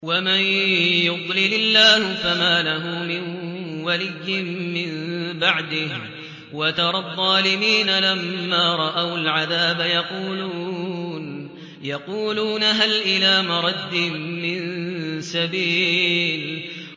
وَمَن يُضْلِلِ اللَّهُ فَمَا لَهُ مِن وَلِيٍّ مِّن بَعْدِهِ ۗ وَتَرَى الظَّالِمِينَ لَمَّا رَأَوُا الْعَذَابَ يَقُولُونَ هَلْ إِلَىٰ مَرَدٍّ مِّن سَبِيلٍ